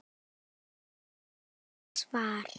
Vill ekkert svar.